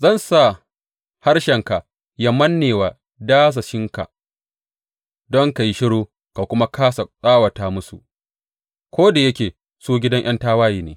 Zan sa harshenka ya manne wa dasashinka don ka yi shiru ka kuma kāsa tsawata musu, ko da yake su gidan ’yan tawaye ne.